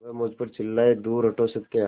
वह मुझ पर चिल्लाए दूर हटो सत्या